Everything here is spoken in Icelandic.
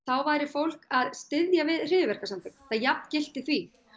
væri fólk að styðja við hryðjuverkasamtök þetta jafngilti því